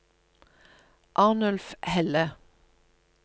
Arnulf Helle